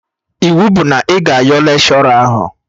Iwu bụ na ị ga ayọ lekshọra ahụ!